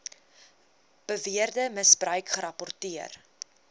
beweerde misbruik gerapporteer